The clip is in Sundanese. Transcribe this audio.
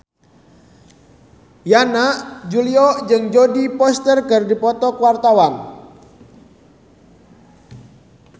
Yana Julio jeung Jodie Foster keur dipoto ku wartawan